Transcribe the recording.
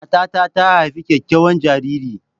Matar ta haifi kyakkyawan jariri.